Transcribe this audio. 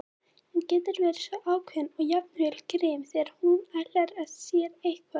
Hún getur verið svo ákveðin og jafnvel grimm þegar hún ætlar sér eitthvað.